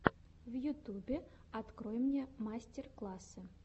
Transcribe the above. в ютубе открой мне мастер классы